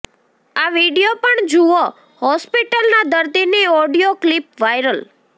આ વીડિયો પણ જુઓઃ હોસ્પિટલના દર્દીની ઓડિયો ક્લિપ વાયરલ